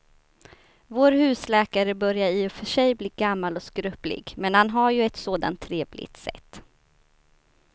Vår husläkare börjar i och för sig bli gammal och skröplig, men han har ju ett sådant trevligt sätt!